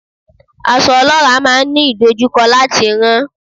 Aṣọ olora máa ń ní ìdojúkọ láti rán.